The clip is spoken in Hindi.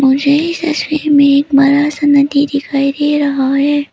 मुझे इस तस्वीर में एक बड़ा सा नदी दिखाई दे रहा है।